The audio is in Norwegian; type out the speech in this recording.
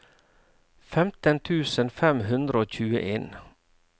femten tusen fem hundre og tjueen